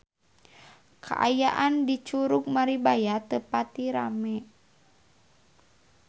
Kaayaan di Curug Maribaya teu pati rame